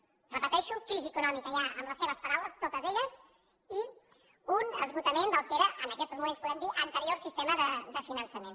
ho repeteixo crisi econòmica ja amb les seves paraules totes elles i un esgotament del que era en aquestos moments ho podem dir anterior sistema de finançament